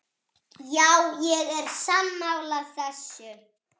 Já, ég er sammála þessu.